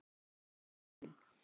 Hér er hann.